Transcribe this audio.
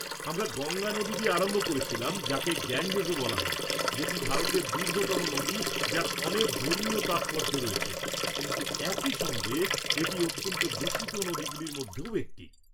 আমরা গঙ্গা নদী দিয়ে আরম্ভ করেছিলাম, যাকে গ্যাঞ্জেসও বলা হয়, যেটি ভারতের দীর্ঘতম নদী, যার অনেক ধর্মীয় তাৎপর্য রয়েছে, কিন্তু একই সঙ্গে এটি অত্যন্ত দূষিত নদীগুলির মধ্যেও একটি।